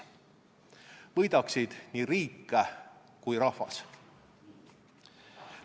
Võidaksid nii riik kui ka rahvas.